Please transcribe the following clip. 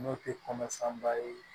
N'o tɛ kɔnɔfanba ye